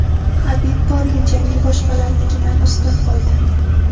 HabibPorye jangi boshqalarnikidan ustun bo‘ldi.